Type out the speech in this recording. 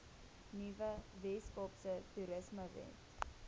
nuwe weskaapse toerismewet